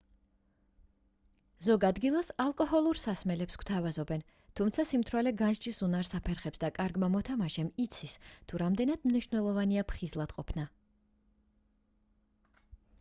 ზოგ ადგილას ალკოჰოლურ სასმელებს გთავაზობენ თუმცა სიმთვრალე განსჯის უნარს აფერხებს და კარგმა მოთამაშემ იცის თუ რამდენად მნიშვნელოვანია ფხიზლად ყოფნა